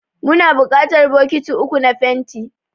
Muna buƙatar bokiti uku na fenti.